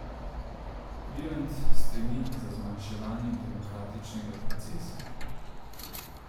Virant stremi za zmanjševanjem demokratičnega procesa.